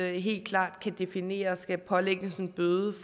helt klart kan definere skal pålægges en bøde